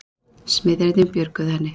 Smiðirnir björguðu henni